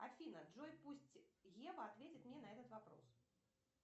афина джой пусть ева ответит мне на этот вопрос